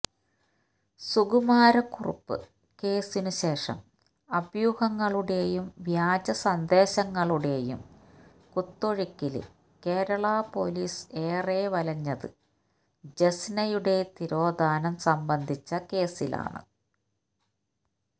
Sukumara Kurup കേസിനുശേഷം അഭ്യൂഹങ്ങളുടെയും വ്യാജസന്ദേശങ്ങളുടെയും കുത്തൊഴുക്കില് Kerala police ഏറെ വലഞ്ഞത് ജെസ്നയുടെ തിരോധാനം സംബന്ധിച്ച കേസിലാണ്